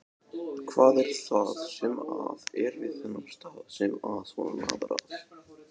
Jóhann: Hvað er það sem að er við þennan stað sem að svona laðar að?